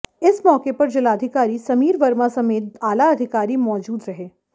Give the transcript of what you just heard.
इस मौके पर जिलाधिकारी समीर वर्मा समेत आलाधिकारी मौजूद रहे